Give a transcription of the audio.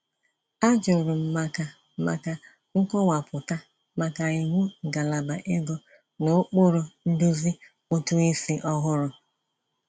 A jụrụ m maka maka nkọwapụta maka iwu ngalaba ego n'ụkpụrụ nduzi ụtụisi ọhụrụ.